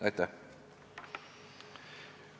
Aitäh!